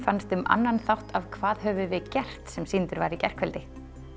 fannst um annan þátt af hvað höfum við gert sem sýndur var í gærkvöldi